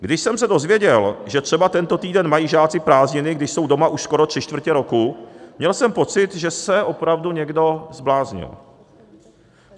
Když jsem se dozvěděl, že třeba tento týden mají žáci prázdniny, když jsou doma už skoro tři čtvrtě roku, měl jsem pocit, že se opravdu někdo zbláznil.